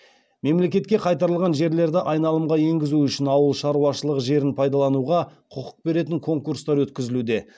мемлекетке қайтарылған жерлерді айналымға енгізу үшін ауыл шаруашылығы жерін пайдалануға құқық беретін конкурстар өткізілуде